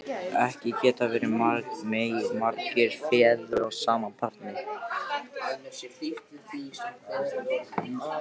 Ekki geta verið margir feður að sama barni!